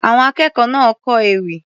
Àwọn akẹ́kọ̀ọ́ náà kọ ewì.